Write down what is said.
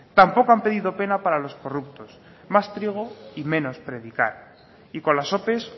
tampoco han pedido pena para los corruptos más trigo y menos predicar y con las ope